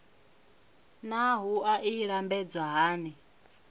naa wua i lambedzwa hani